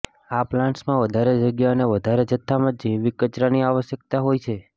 આ પ્લાન્ટ્સ માં વધારે જગ્યા અને વધારે જથ્થામાં જૈવિક કચરાની આવશ્યકતા હોય છે